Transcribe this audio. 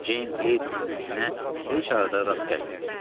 Ceyn Kleytonun izinə heç arada rast gəlinmirdi.